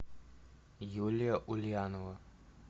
юлия ульянова